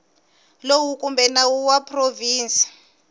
lowu kumbe nawu wa provinsi